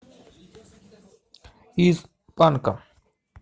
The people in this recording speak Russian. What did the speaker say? из панка